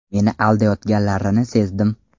Meni aldayotganlarini sezdim.